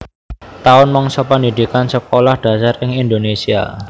Taun mangsa pendhidhikan Sekolah Dasar ing Indonésia